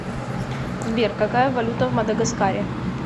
сбер какая валюта в мадагаскаре